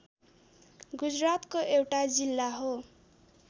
गुजरातको एउटा जिल्ला हो